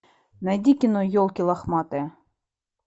найди кино елки лохматые